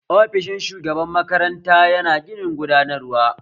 Ofishin shugaban makaranta yana ginin gudanarwa